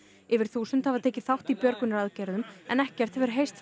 yfir þúsund hafa tekið þátt í björgunaraðgerðum en ekkert hefur heyrst